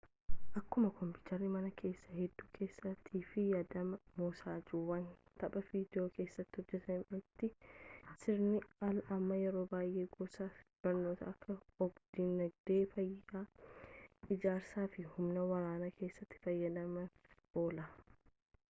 akkuma koompiyutara mana keessaa hedduu keessattii fi fayyadama mosaajjiiwwan tapha viidiyoo keessatti hojjetametti sirni al amma yeroo baayee gosa barnootaa akka og-dinagdee fayyaa ijaarsa fi humna waraanaa keessatti fayidaaf oola